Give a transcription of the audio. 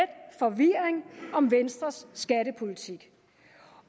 forvirring om venstres skattepolitik